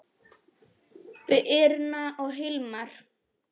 Birna og Hilmar.